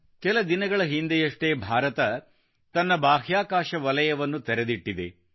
ಕೆಲ ದಿನಗಳ ಹಿಂದೆಯಷ್ಟೇ ಭಾರತ ತನ್ನ ಬಾಹ್ಯಾಕಾಶ ವಲಯವನ್ನು ತೆರೆದಿಟ್ಟಿದೆ